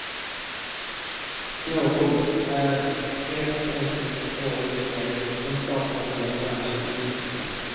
Snowboard är helt enkelt årets grej, som sakkunniga i branschen uttrycker det.